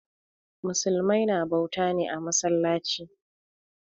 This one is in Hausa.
Musulmai na bauta ne a masallaci.